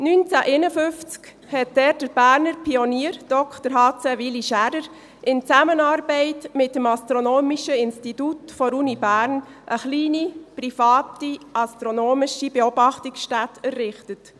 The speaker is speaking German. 1951 hat dort der Berner Pionier, Dr. h.c. Willy Schaerer in Zusammenarbeit mit dem Astronomischen Institut der Universität Bern eine kleine private astronomische Beobachtungsstätte errichtet.